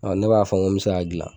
Ne b'a fɔ ko n me se k'a dilan